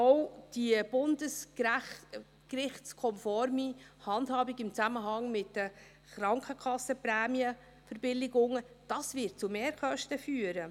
Auch wird die bundesgerichtskonforme Handhabung im Zusammenhang mit den Krankenkassenprämienverbilligungen zu Mehrkosten führen.